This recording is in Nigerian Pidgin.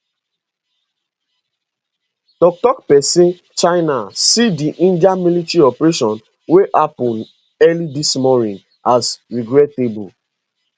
tok tok pesin china see di india military operation wey happun early dis morning as regrettable